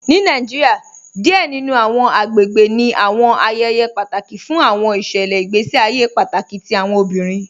Ni Nàìjíríà, díẹ̀ nínu àwọn àgbègbè ní àwọn ayéyé pátákì fún àwọn ìṣẹlẹ̀ ìgbèsí àyè pátákì tí àwọn obìrín